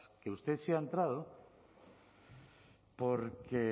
que usted sí ha entrado porque